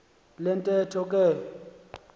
le ntetho ke